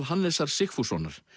Hannesar Sigfússonar